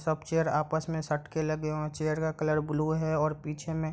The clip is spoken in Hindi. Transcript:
सब चेयर आपस मे सट के लगे हुए हैं चेयर का कलर ब्लू है और पीछे मे --